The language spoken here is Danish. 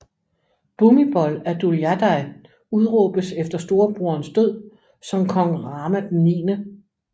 Bhumibol Adulyadej udråbes efter storebroderens død som kong Rama IX